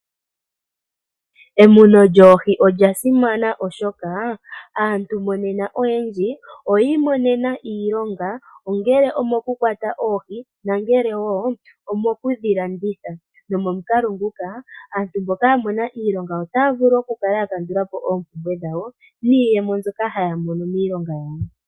Emuno lyoohi olya simana oshoka aantu monena oyendji oyii monena iilonga, ongele omo ku kwata oohi na ngele wo omo kudhilanditha. Nomomukalo nguka aantu mboka ya mona iilonga otaa vulu okukala ya kandula po oompumbwe dhawo, niiyemo mboka haya mono miilonga yawo.